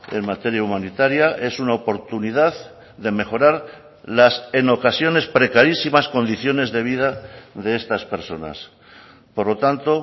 en materia humanitaria es una oportunidad de mejorar las en ocasiones precarísimas condiciones de vida de estas personas por lo tanto